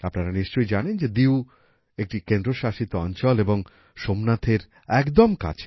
আপনারা নিশ্চয়ই জানেন যে দিউ একটি কেন্দ্রশাসিত অঞ্চল এবং সোমনাথের একদম কাছে